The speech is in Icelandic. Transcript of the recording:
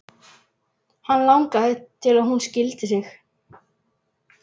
Hann langaði til að hún skildi sig.